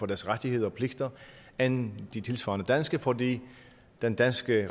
deres rettigheder og pligter end de tilsvarende danske fordi den danske